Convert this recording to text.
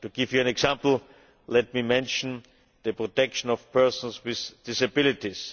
To give you an example, let me mention the protection of persons with disabilities.